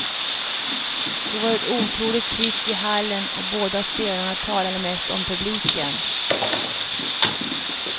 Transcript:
Det var ett otroligt tryck i hallen och båda spelarna talade mest om publiken.